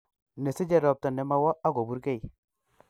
Nesiche ropta nemowo ako burkei